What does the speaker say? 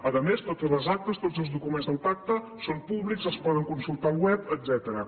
a més totes les actes tots els documents del pacte són públics es poden consultar al web etcètera